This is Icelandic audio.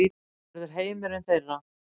Hann verður heimurinn þeirra.